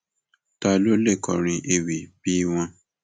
ta ló lè kọrin ewì bíi wọn